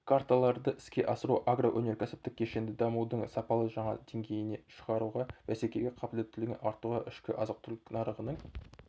карталарды іске асыру агроөнеркәсіптік кешенді дамудың сапалы жаңа деңгейіне шығаруға бәсекеге қабілеттілігін арттыруға ішкі азық-түлік нарығының